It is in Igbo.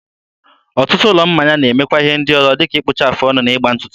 ọtụtụ ụlọ mmanya na-emekwa ihe ndị ọzọ dịka ịkpụcha afụ ọnụ na ịgba ntụtụ.